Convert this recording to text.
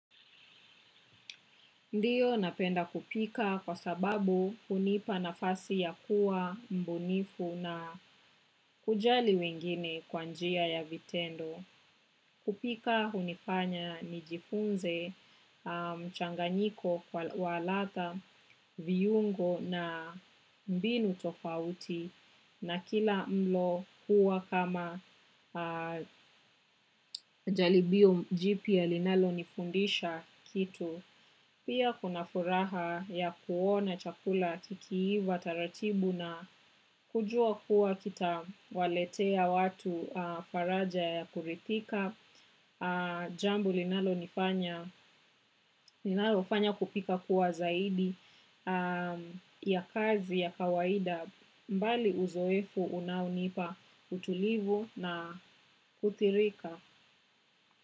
Ndio napenda kupika kwa sababu hunipa nafasi ya kuwa mubunifu na kujali wengine kwa njia ya vitendo. Kupika hunifanya nijifunze mchanganyiko kwa wa ladha viungo na mbinu tofauti na kila mlo kuwa kama jaribio jipya linalo nifundisha kitu. Pia kuna furaha ya kuona chakula kikiiva, taratibu na kujua kuwa kita waletea watu faraja ya kurithika. Jambo linalofanya kupika kuwa zaidi ya kazi ya kawaida mbali uzoefu unaunipa utulivu na kuthirika.